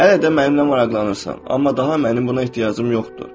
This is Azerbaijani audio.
Hələ də mənimlə maraqlanırsan, amma daha mənim buna ehtiyacım yoxdur.